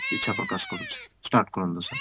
ଇଚ୍ଛା ପ୍ରକାଶ କରୁଛି start କରନ୍ତୁ sir